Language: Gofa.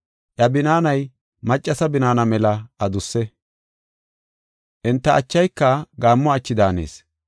Iya binaanay maccasa binaana mela adusse. Enta achayka gaammo achi daanees.